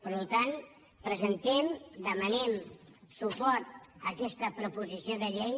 per tant presentem demanem suport per a aquesta proposició de llei